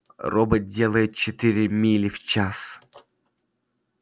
робот делает четыре мили в час